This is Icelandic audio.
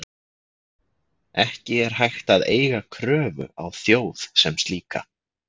Ekki er hægt að eiga kröfu á þjóð sem slíka.